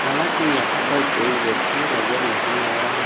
हालांकि यहां पर कोई व्यक्ति नजर नहीं आ रहा--